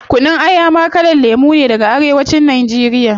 Kunun Aya ma kalan lemu ne daga arewa cin nigeria